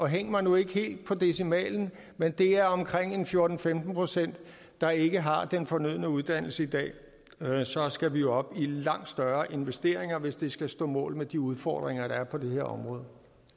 hæng mig nu ikke helt på decimalen men det er omkring fjorten til femten procent der ikke har den fornødne uddannelse i dag og så skal vi jo op i langt større investeringer hvis det skal stå mål med de udfordringer der er på det her område